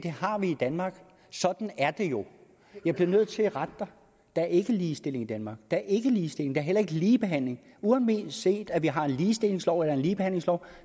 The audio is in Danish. har vi i danmark sådan er det jo jeg bliver nødt til at rette dig der er ikke ligestilling i danmark der er ikke ligestilling der er heller ikke ligebehandling uanset at vi har en ligestillingslov eller en ligebehandlingslov